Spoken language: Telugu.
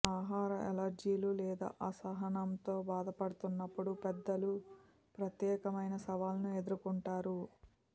ఆహార అలెర్జీలు లేదా అసహనంతో బాధపడుతున్నప్పుడు పెద్దలు ప్రత్యేకమైన సవాళ్ళను ఎదుర్కొంటారు